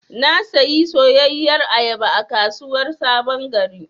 Na sayi soyayyar ayaba a kasuwar sabon gari.